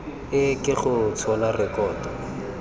e ke go tshola rekoto